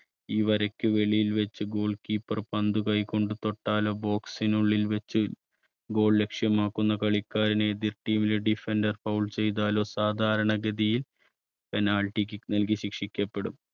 ഈ വരയ്ക്ക് വെളിയിൽ വെച്ച് goal keeper പന്ത് കൈകൊണ്ട് തൊട്ടാലോ box നുള്ളിൽ വച്ച് goal ലക്ഷ്യമാക്കുന്ന കളിക്കാരനെ എതിർ team ലെ defender foul ചെയ്താലോ സാധാരണഗതിയിൽ penalty kick നൽകി ശിക്ഷിക്കപ്പെടും.